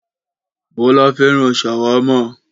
Bọ́lá fẹ́ràn ṣàwámà.